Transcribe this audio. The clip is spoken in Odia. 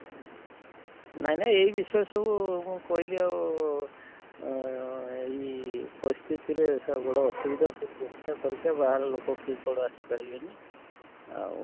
ନାଇଁ ନାଇଁ ଇଏ ବିଷୟରେ ସବୁ ମୁଁ କହିଲି ଆଉ ଅଁ ଅଁ ଇ ପରିସ୍ଥିତିରେ ଅସୁବିଧା ସବୁ ପରୀକ୍ଷା ଫରିକ୍ଷା ବାହାର ଲୋକ କିଏ କୁଆଡେ ଆସି ପାରିବେ ନି ଆଉ?